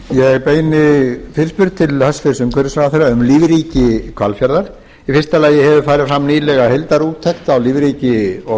frú forseti ég beini fyrirspurn til hæstvirts umhverfisráðherra um lífríki hvalfjarðar fyrstu hefur farið fram nýlega heildarúttekt á lífríki og